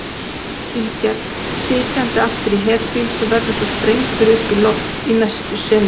tilgerð, sitjandi aftur í herbíl sem verður svo sprengdur upp í loft í næstu senu.